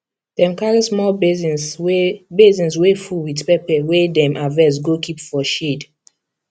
dem carry small basins wey basins wey full with pepper wey dem harvest go keep for shade